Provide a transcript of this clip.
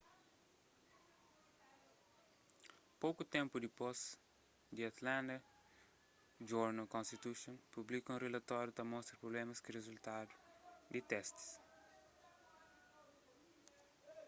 poku ténpu dipôs the atlanta journal-constitution publika un rilatóriu ta mostra prublémas ku rizultadu di testis